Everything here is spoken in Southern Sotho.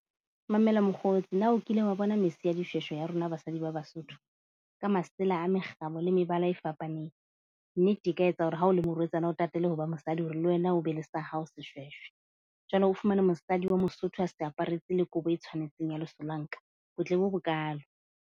Mamela mokgotsi na o kile wa bona mese ya dishweshwe ya rona basadi ba Basotho? Ka masela a mekgabo le mebala e fapaneng. Nnete e ka etsa hore ha o le morwetsana, o tatele ho ba mosadi hore le wena o be le sa hao shweshwe jwale o fumane mosadi wa Mosotho a se aparetse le kobo e tshwanetseng ya lesolanka, botle bo bokaalo.